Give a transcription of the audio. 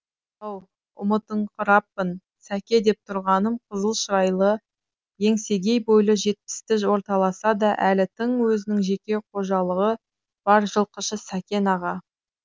ау ұмытыңқыраппын сәке деп тұрғаным қызыл шырайлы еңсегей бойлы жетпісті орталаса да әлі тың өзінің жеке қожалығы бар жылқышы сәкен аға